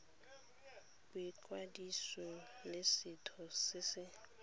boikwadiso le setheo se se